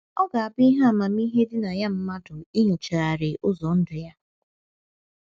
Ọ ga - abụ ihe amamihe dị na ya mmadụ inyochagharị ụzọ ndụ ya.